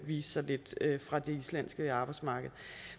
vise sig fra det islandske arbejdsmarked